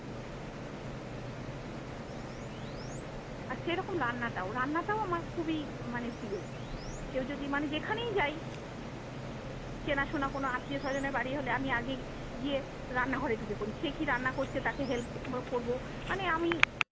আর সেরকম রান্নাটাও রান্নাটাও আমার খুবই মানে প্রিয়। কেও যদি মানে যেখানেই যাই চেনাশোনা কোনো আত্মীয় স্বজনের বাড়ি হলে আমি আগে গিয়ে রান্না ঘরে ঢুকে পড়ি, সে কি রান্না করছে তাকে help করব। মানে আমি-